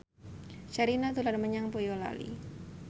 Sherina dolan menyang Boyolali